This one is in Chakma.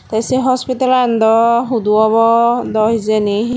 te say hospitalan dw hudu obo dow hejani.